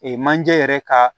manje yɛrɛ ka